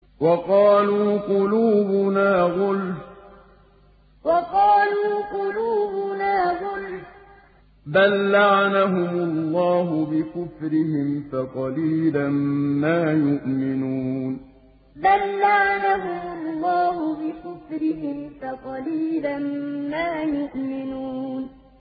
وَقَالُوا قُلُوبُنَا غُلْفٌ ۚ بَل لَّعَنَهُمُ اللَّهُ بِكُفْرِهِمْ فَقَلِيلًا مَّا يُؤْمِنُونَ وَقَالُوا قُلُوبُنَا غُلْفٌ ۚ بَل لَّعَنَهُمُ اللَّهُ بِكُفْرِهِمْ فَقَلِيلًا مَّا يُؤْمِنُونَ